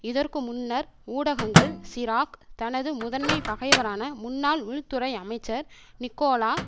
இதற்கு முன்னர் ஊடகங்கள் சிராக் தனது முதன்மைபகைவரான முன்னாள் உள்துறை அமைச்சர் நிக்கோலா